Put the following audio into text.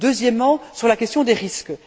Deuxièmement, la question des risques.